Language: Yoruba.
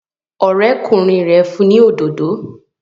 Ọ̀rẹ́kùnrin rẹ̀ fún ni òdodo